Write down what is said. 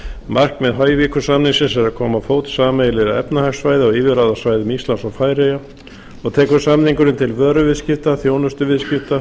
markmið hoyvíkur samningsins er að koma á fót sameiginlegu efnahagssvæði á yfirráðasvæðum íslands og færeyja og tekur samningurinn til vöruviðskipta þjónustuviðskipta